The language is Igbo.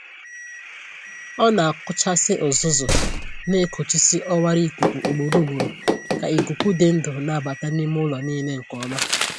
Ọ na-akụchasị uzuzu na-ekochisi ọwara ikuku ugboro ugboro ka ikuku dị ndụ na-abata n’ime ụlọ niile nke Ọma.